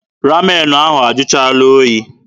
Ramen ahụ ajụchaala oyi.